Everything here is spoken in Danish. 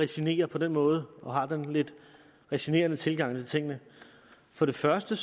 resignerer på den måde og har den lidt resignerende tilgang til tingene for det første